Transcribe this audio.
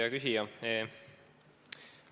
Hea küsija!